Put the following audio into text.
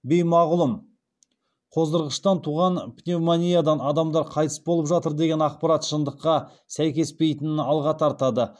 беймағлұм қоздырғыштан туған пневмониядан адамдар қайтыс болып жатыр деген ақпарат шындыққа сәйкеспейтінін алға тартады